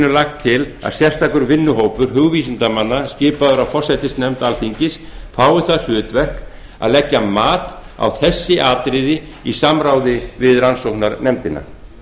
lagt til að sérstakur vinnuhópur hugvísindamanna skipaður af forsætisnefnd alþingis fái það hlutverk að leggja mat á þessi atriði í samráði við rannsóknarnefndina